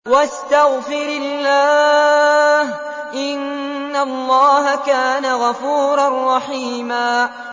وَاسْتَغْفِرِ اللَّهَ ۖ إِنَّ اللَّهَ كَانَ غَفُورًا رَّحِيمًا